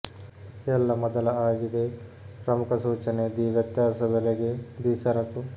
ಎಲ್ಲಾ ಮೊದಲ ಆಗಿದೆ ಪ್ರಮುಖ ಸೂಚನೆ ದಿ ವ್ಯತ್ಯಾಸ ಬೆಲೆಗೆ ದಿ ಸರಕು